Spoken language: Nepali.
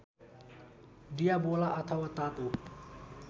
डियावोला अथवा तातो